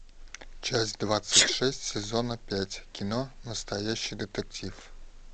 часть двадцать шесть сезона пять кино настоящий детектив